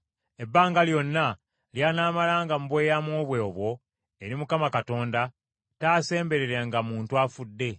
Ebbanga lyonna ly’anaamalanga mu bweyamo bwe obwo eri Mukama Katonda, taasembererenga muntu afudde.